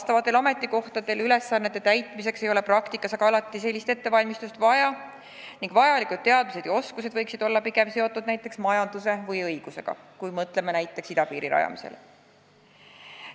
Nendel ametikohtadel ülesannete täitmiseks ei ole praktikas aga alati sellist ettevalmistust vaja ning vajalikud teadmised ja oskused võiksid olla pigem seotud näiteks majanduse või õigusega, kui mõtleme näiteks idapiiri rajamisele.